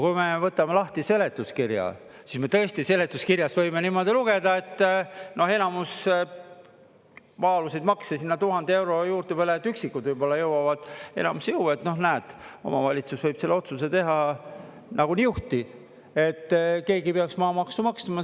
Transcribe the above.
Kui me võtame lahti seletuskirja, siis me tõesti seletuskirjast võime niimoodi lugeda, et enamus maa-aluseid makse sinna 1000 euro juurde, üksikud võib-olla jõuavad, enamus ei jõua, et noh, näed, omavalitsus võib selle otsuse teha nagu niuhti, et keegi ei peaks maamaksu maksma.